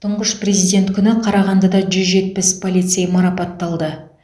тұңғыш президент күні қарағандыда жүз жетпіс полицей марапатталды